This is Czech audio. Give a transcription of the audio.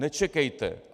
Nečekejte!